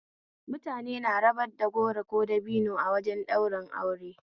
Mutane na rabar da goro ko dabino wajen ɗaurin aure